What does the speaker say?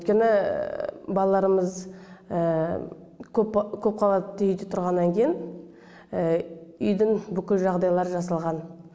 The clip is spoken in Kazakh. өйткені балаларымыз көпқабатты үйде тұрғаннан кейін үйдің бүкіл жағдайлары жасалған